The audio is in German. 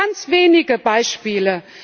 Und das sind nur ganz wenige Beispiele.